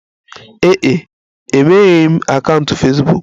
Ee e, emegheghị m akaụntụ Fesbuk.